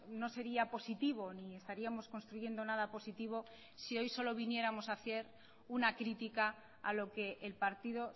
no sería positivo ni estaríamos construyendo nada positivo si hoy solo viniéramos a hacer una crítica a lo que el partido